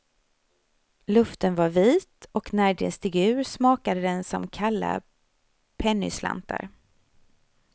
Luften var vit, och när de steg ur smakade den som kalla pennyslantar.